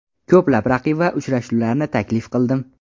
Ko‘plab raqib va uchrashuvlarni taklif qildim.